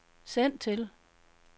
send til